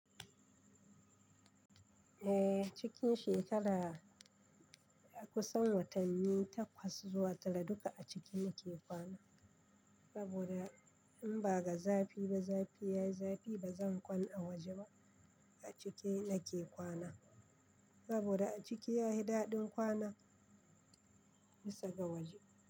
Eh, cikin shekara a kusan watanni takwas zuwa talatin duka a ciki yake kwana. Saboda in ba ga zafi ba, zafi yayi zafi ba zan kwana a waje ba. A ciki nake kwana saboda a ciki yayi daɗin kwana, bisa ga waje.